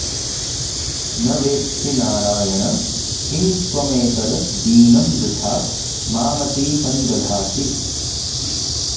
न वेत्सि नारायण किं त्वमेतद् दीनं वृथा मामतिसंदधासि